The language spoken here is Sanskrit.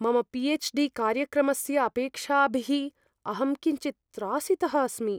मम पी.एच्.डी. कार्यक्रमस्य अपेक्षाभिः अहं किञ्चित् त्रासितः अस्मि।